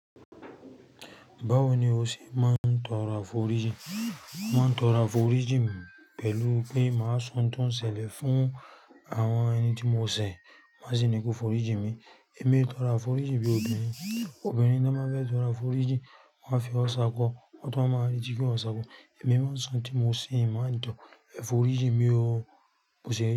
Báwo ni o ṣe máa ń tọrọ aforiji? Mo máa ń tọrọ aforiji pẹ̀lú pé màá sọ n tó ń ṣẹlẹ̀ fún àwọn ẹni tí mo ṣẹ̀, màa sì ni pé kó foriji mi. Èmi tọra foriji bí òbí mi. Obìnrin tí wọ́n bá fẹ́ tọra foriji, wọ́n a fi ọsa kọ, wọ́n tó máa rí igi kí wọ́n sa akọ. Èmi máa ń sọ ohun tí mo ṣì ń mọ̀ ní ìtàn, ẹ foriji mi ó, mo ṣẹ̀ yí.